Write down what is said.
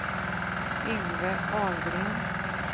Yngve Ahlgren